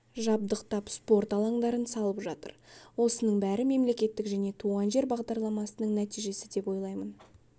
жабдықтап спорт алаңдарын салып жатыр осының бәрі мемлекеттік және туған жер бағдарламасының нәтижесі деп ойлаймын